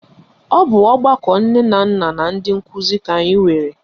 Ọ bụ ọgbakọ nne na nna na ndị nkụzi ka anyị nwere